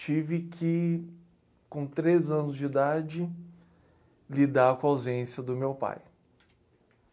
tive que, com três anos de idade, lidar com a ausência do meu pai.